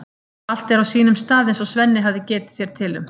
Allt er á sínum stað eins og Svenni hafði getið sér til um.